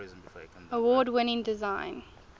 award winning design